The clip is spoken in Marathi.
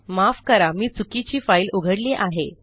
माफ करा मी चुकीची फाईल उघडली आहे